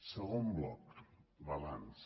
segon bloc balanç